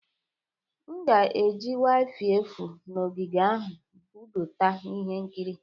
M ga-eji wifi efu na ogige ahụ budata ihe nkiri.